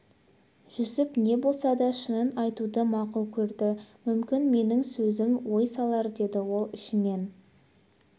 жүсіп не болса да шынын айтуды мақұл көрді мүмкін менің сөзім ой салар деді ол ішінен